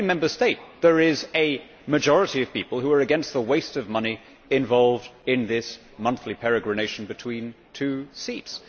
In every Member State there is a majority of people who are against the waste of money involved in this monthly peregrination between two seats.